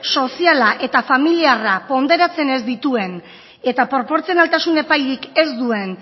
soziala eta familiarra ponderatzen ez dituen eta proportzionaltasun epairik ez duen